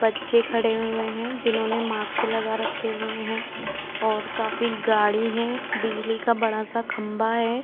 बच्चे खड़े हुए है जिन्होंने मास्क लगा रखे हुए है और काफी गाडी है बिजली का बड़ासा खम्बा है।